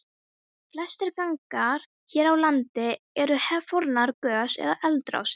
Flestir gangar hér á landi eru fornar gos- eða eldrásir.